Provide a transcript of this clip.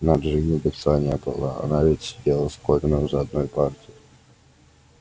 на джинни лица не было она ведь сидела с колином за одной партой